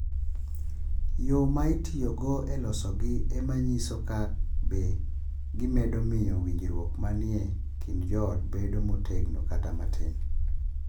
Yo ma itiyogo e losogi e ma nyiso ka be gimedo miyo winjruok ma ni e kind joot bedo motegno kata matin.